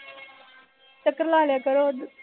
ਚੱਕਰ ਲਾ ਲਿਆ ਕਰੋ ਜੀ